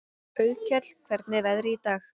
Auðkell, hvernig er veðrið í dag?